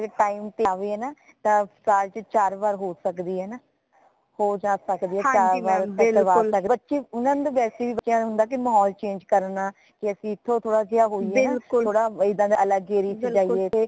ਅਗਰ time ਤੇ ਆਵੇ ਹੈ ਨਾ ਤਾ ਸਾਲ ਚ ਚਾਰ ਵਰੀ ਹੋ ਸਕਦੀ ਹੈ ਹੈ ਨਾ ਹੋ ਜਾ ਸਕਦੀ ਹੈ ਚਾਰ ਵਾਰ ਵੈਸੇ ਵੀ ਬੱਚਿਆਂ ਨੂ ਹੁੰਦਾ ਮਹੌਲ change ਕਰਨਾ ਯਾ ਇਥੋਂ ਥੋੜਾ ਜੇਹਾ ਹੋਯੀਏ ਥੋੜਾ ਜਾ ਏਦਾ ਅਲਗ area ਚ ਜਾਈਏ